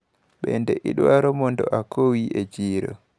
Bende idwaro mondo akowi e chiro?